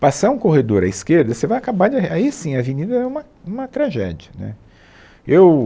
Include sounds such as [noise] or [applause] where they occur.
passar um corredor à esquerda, você vai acabar.. [unintelligible] Aí, sim, a Avenida é uma uma tragédia né eu